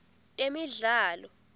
temidlalo